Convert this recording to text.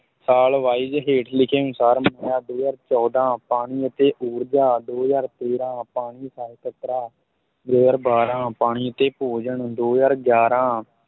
ਸਾਲ wise ਹੇਠ ਲਿਖੇ ਅਨੁਸਾਰ ਦੋ ਹਜ਼ਾਰ ਚੌਦਾਂ ਪਾਣੀ ਅਤੇ ਉਰਜਾ ਦੋ ਹਜ਼ਾਰ ਤੇਰਾਂ ਪਾਣੀ ਸਹਿਕਾਰਤਾ, ਦੋ ਹਜ਼ਾਰ ਬਾਰਾਂ ਪਾਣੀ ਅਤੇ ਭੋਜਨ, ਦੋ ਹਜ਼ਾਰ ਗਿਆਰਾਂ